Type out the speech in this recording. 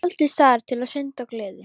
Taldist þar til syndar, gleðin.